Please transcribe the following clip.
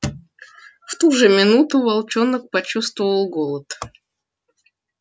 в ту же минуту волчонок почувствовал голод